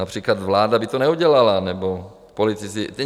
Například vláda by to neudělala nebo politici.